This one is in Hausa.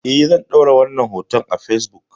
Eh zan ɗora wannan hoton a fesbuk